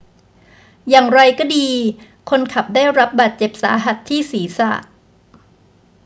อย่างไรก็ดี คนขับได้รับบาดเจ็บสาหัสที่ศีรษะ